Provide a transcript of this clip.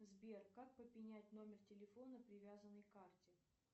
сбер как поменять номер телефона привязанный к карте